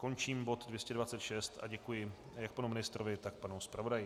Končím bod 226 a děkuji jak panu ministrovi, tak panu zpravodaji.